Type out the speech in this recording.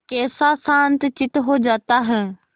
कैसा शांतचित्त हो जाता है